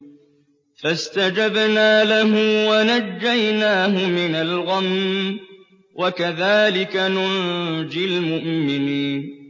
فَاسْتَجَبْنَا لَهُ وَنَجَّيْنَاهُ مِنَ الْغَمِّ ۚ وَكَذَٰلِكَ نُنجِي الْمُؤْمِنِينَ